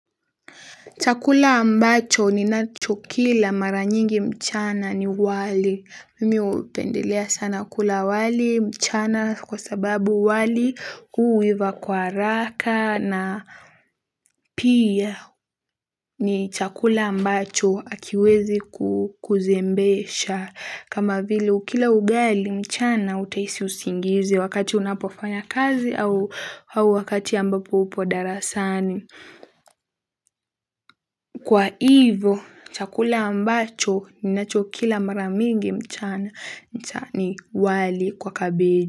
Chakula ambacho ninachokila mara nyingi mchana ni wali. Mimi hupendelea sana kula wali mchana kwa sababu wali huiva kwa haraka na pia ni chakula ambacho akiwezi kuzembesha. Kama vile ukila ugali mchana utahisi usingizi wakati unapofanya kazi au wakati ambapo upo darasani. Kwa hivyo, chakula ambacho ninachokila mara mingi mchana ni wali kwa kabeji.